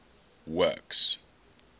works